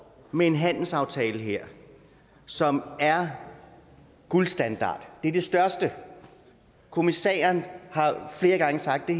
med en handelsaftale her som er guldstandard det er det største kommissæren har flere gange sagt at